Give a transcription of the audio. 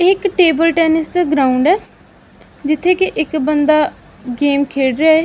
ਇਹ ਇੱਕ table tennis ਦਾ ਗਰਾਊਂਡ ਐ ਜਿੱਥੇ ਕਿ ਇੱਕ ਬੰਦਾ ਗੇਮ ਖੇਡ ਰਿਹਾ ਐ।